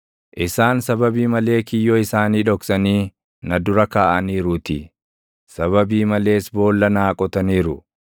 Isaan sababii malee kiyyoo isaanii dhoksanii // na dura kaaʼaniiruutii; sababii malees boolla naa qotaniiru;